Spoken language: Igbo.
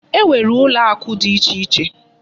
E nwere ụlọakụ dị ichè iche.